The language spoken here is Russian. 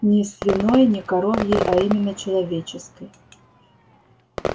и не свиной и не коровьей а именно человеческой